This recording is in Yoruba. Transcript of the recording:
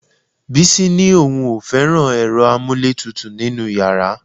Bísí ni òun ò fẹ́ràn ẹ̀rọ amúlétutù nínú yàrá